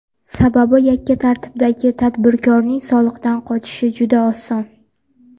Sababi, yakka tartibdagi tadbirkorning soliqdan qochishi juda oson.